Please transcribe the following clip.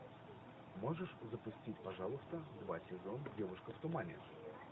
можешь запустить пожалуйста два сезон девушка в тумане